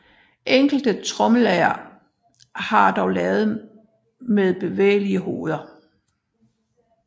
Enkelte tromlelagre var dog lavet med bevægelige hoveder